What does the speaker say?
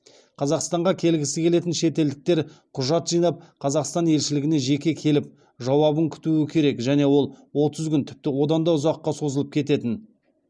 қазақстанға келгісі келетін шетелдіктер құжат жинап қазақстан елшілігіне жеке келіп жауабын күтуі керек және ол отыз күн тіпті одан да ұзаққа созылып кететін